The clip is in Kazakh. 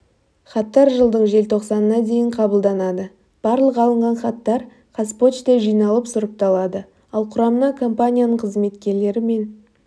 хаттар жылдың желтоқсанына дейін қабылданады барлық алынған хаттар қазпочта жиналып сұрыпталады ал құрамына компанияның қызметкерлері мен